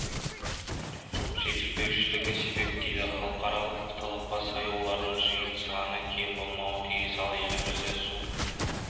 жетіспеушілігі себеп дейді халықаралық талапқа сай олардың жиын саны кем болмауы тиіс ал елімізде су